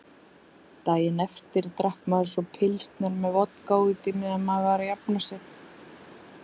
Daginn eftir drakk maður svo pilsner með vodka útí meðan maður var að jafna sig.